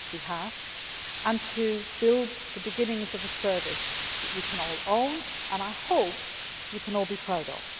partnership links. We have. And to build the beginnings of a service that you can all own and, I hope, you